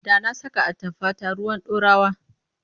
Da na saka atamfata ruwan ɗorawa.